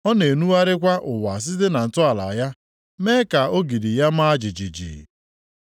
Ọ na-enugharịkwa ụwa site na ntọala ya, mee ka ogidi ya maa jijiji.